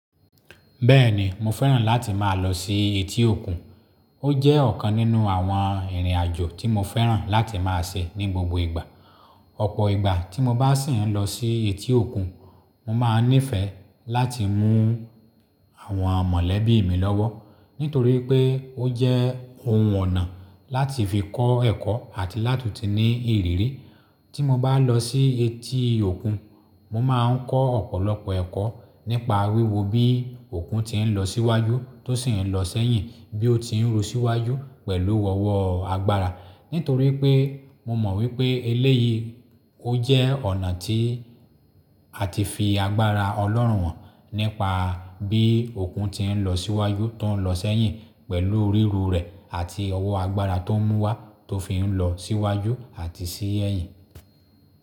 Bẹ́ẹ̀ni mo fẹ́ràn láti máa lọ sí etí òkun, ó jẹ́ ọ̀kan nínú àwọn ìrìn àjò tí mo fẹ́ràn láti máa ṣe ní gbogbo ìgbà. Ọ̀pọ̀ ìgbà tí mo bá sì ń lọ sí etí òkun, mo máa n nífẹ̀ẹ́ láti mú àwọn mọ̀lẹ́bí mi lọ́wọ́, nítorí pé ó jẹ́ ohun ọ̀nà láti fi kọ́ ẹ̀kọ́ àti láti ti ní ìrírí. Tí mo bá lọ sí etí òkun, mo máa ń kọ́ ọ̀pọ̀lọpọ̀ ẹ̀kọ́ nípa wíwo bí òkun ti ń lọ síwájú tó sì ń lọ sẹ́yìn, bí ó ti ń ru síwájú pẹ̀lú ọwọ́ agbára. Nítorí pé mo mọ̀ wípé eléyìí ó jẹ́ ọ̀nà tí a ti fi agbára Ọlọ́run hàn, nípa bí òkun ti ń lọ síwájú tó ń lọ sẹ́yìn pẹ̀lú ríru rẹ̀ àti ọwọ́ agbára tó ń múwa tó fi ń lọ síwájú àti sí èyìn.